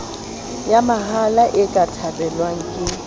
mahala e ka thabelwang ke